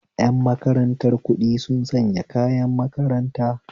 Yan makarantar kuɗi sun sanya kayan makaranta